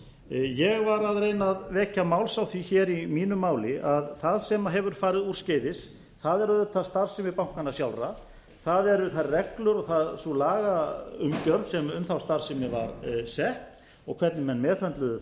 ég var að reyna að vekja máls á því hér í mínu máli að það sem hefur farið úrskeiðis er auðvitað starfsemi bankanna sjálfra það eru þær reglur og sú lagaumgjörð sem um þá starfsemi var sett og hvernig menn meðhöndluðu